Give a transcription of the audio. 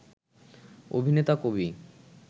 অভিনেতা, কবি